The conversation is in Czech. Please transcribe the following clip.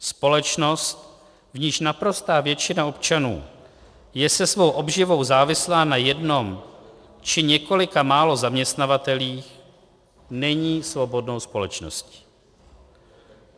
Společnost, v níž naprostá většina občanů je se svou obživou závislá na jednom či několika málo zaměstnavatelích, není svobodnou společností.